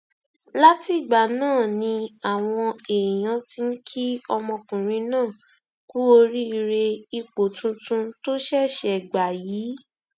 látìgbà náà ni àwọn èèyàn ti ń kí ọmọkùnrin náà kú oríire ipò tuntun tó ṣẹṣẹ gbà yìí